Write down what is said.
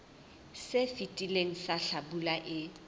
se fetileng sa hlabula e